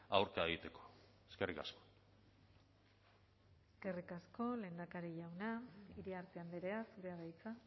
aurka egiteko eskerrik asko eskerrik asko lehendakari jauna iriarte andrea zurea da hitza